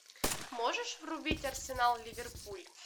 можешь врубить арсенал ливерпуль